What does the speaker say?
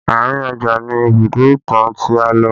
Àárín ọjà ni Ibùdó ìtàn tí a lò